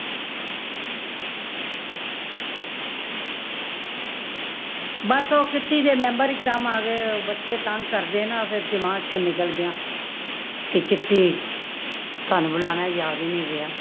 ਬੱਸ ਉਹ kitty ਦੇ member ਇਕ ਦਮ ਆ ਗਏ, ਬੱਚੇ ਤੰਗ ਕਰਦੇ ਨਾ, ਫੇਰ ਦਿਮਾਗ ਚੋ ਨਿਕਲ ਗਯਾ। ਕੀ kitty ਤੁਹਾਨੂੰ ਬੁਲਾਨਾ ਯਾਦ ਹੀ ਨਹੀਂ ਰਹੀਆਂ